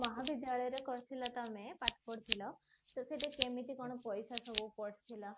ମହାବିଦ୍ୟାଳୟ ରେ କରିଥିଲ ତମେ ପାଠ ପଢିଥିଲ ତ କେମତି କଣ ପଇସା ସବୁ ପଡିଥିଲା ମୁମ୍ବାଇଋ